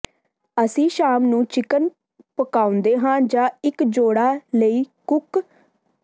ਅਸੀਂ ਸ਼ਾਮ ਨੂੰ ਚਿਕਨ ਪਕਾਉਂਦੇ ਹਾਂ ਜਾਂ ਇੱਕ ਜੋੜਾ ਲਈ ਕੁੱਕ